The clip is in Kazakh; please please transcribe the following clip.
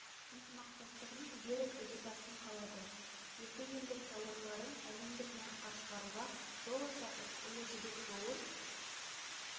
ынтымақтастығының берік іргетасын қалады екі елдің тауарларын әлемдік нарыққа шығаруға жол ашатын ұлы жібек жолын